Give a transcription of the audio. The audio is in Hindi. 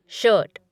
शर्ट